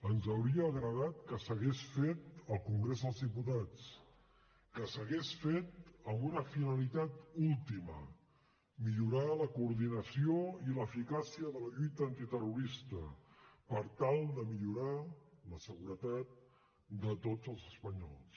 ens hauria agradat que s’hagués fet al congrés dels diputats que s’hagués fet amb una finalitat última millorar la coordinació i l’eficàcia de la lluita antiterrorista per tal de millorar la seguretat de tots els espanyols